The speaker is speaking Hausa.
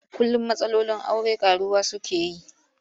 Kullum matsalolin aure ƙaruwa suke yi.